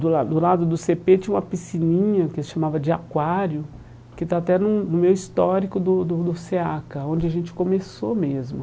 Do lado do lado do cê pê tinha uma piscininha que se chamava de aquário, que está até no no meu histórico do do do SEACA, onde a gente começou mesmo.